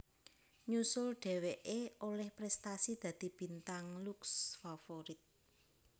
Nyusul dheweké olih prestasi dadi Bintang Lux Favorit